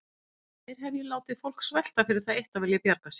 Nær hef ég látið fólk svelta fyrir það eitt að vilja bjarga sér?